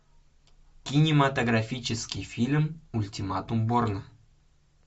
кинематографический фильм ультиматум борна